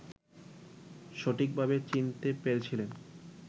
সঠিকভাবে চিনতে পেরেছিলেন